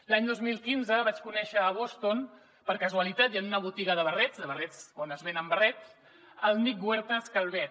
l’any dos mil quinze vaig conèixer a boston per casualitat i en una botiga de barrets de barrets on es venen barrets el nick huertas calvet